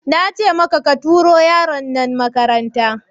Nace maka ka tura yaron nan makaranta!